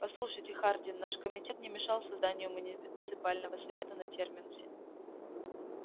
послушайте хардин наш комитет не мешал созданию муниципального совета на терминусе